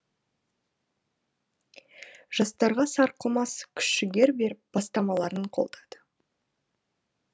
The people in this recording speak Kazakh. жастарға сарқылмас күш жігер беріп бастамаларын қолдады